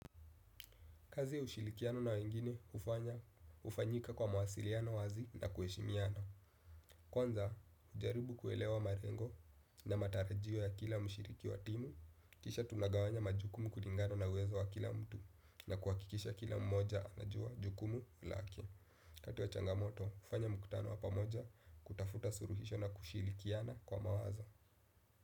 Kazi ushirikiano na wengine hufanya ufanyika kwa mawasiliano wazi na kuheshimiana. Kwanza hujaribu kuelewa malengo na matarajio ya kila mshiriki wa timu, kisha tunagawanya majukumu kulingano na uwezo wa kila mtu na kuhakikisha kila mmoja anajua jukumu lake. waKati wa changamoto, ufanya muktano wa pamoja kutafuta suluhisho na kushirikiana kwa mawazo.